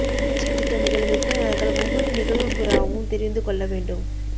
கட்சி திட்டமிடல் விற்பனையாளர்கள் ஒவ்வொரு நிகழ்வு புரோவும் தெரிந்து கொள்ள வேண்டும்